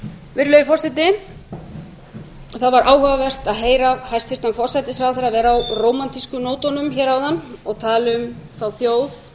virðulegi forseti það var áhugavert að heyra hæstvirtan forsætisráðherra vera á rómantísku nótunum hér áðan og tala um þá þjóð